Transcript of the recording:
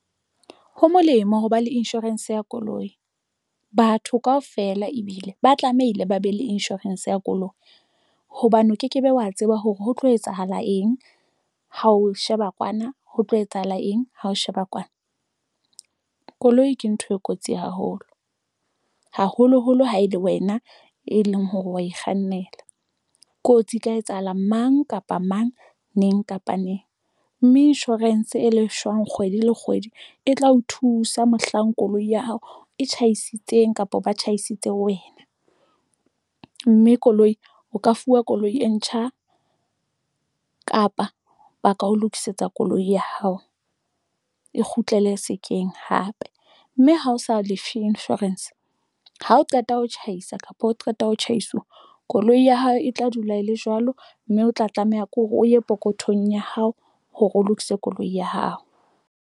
Ho molemo hoba le insurance ya koloi batho kaofela ebile ba tlamehile ba be le insurance ya koloi hobane o ke ke be wa tseba hore ho tlo etsahala eng hao sheba kwana, ho tlo etsahala eng ha o sheba kwana. Koloi ke ntho e kotsi haholo, haholoholo ha e le wena e leng hore wa e kgannela kotsi e tla etsahala mang kapa mang neng kapa neng mme insurance e leng shwang kgwedi le kgwedi e tla o thusa mohlang koloi ya hao e tjhaisitseng kapa ba tjhaisitse wena mme koloi o ka fuwa koloi e ntjha kapa ba ka ho lokisetsa koloi ya hao e kgutlele sekeng hae Cape mme ha o sa Life Insurance, ha o qeta ho tjhaisa kapa o qeta ho tjhaisa, koloi ya hao e tla dula e le jwalo mme o tla tlameha ke hore o ye pokothong ya hao hore o lokise koloi ya hao.